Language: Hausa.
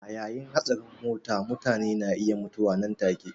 A yayin hatsarin mota mutane na iya mutuwa nan take.